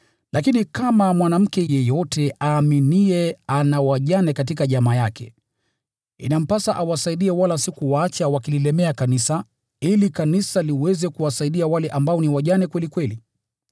Lakini kama mwanamke yeyote aaminiye ana wajane katika jamaa yake, inampasa awasaidie wala si kuwaacha wakililemea kanisa, ili kanisa liweze kuwasaidia wale ambao ni wajane kweli kweli.